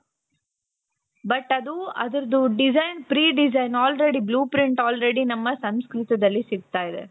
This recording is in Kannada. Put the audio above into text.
but ಅದು ಅದುರ್ದು design pre design already blue print already ನಮ್ಮ ಸಂಸ್ಕೃತದಲ್ಲಿ ಸಿಕ್ತಾ ಇದೆ .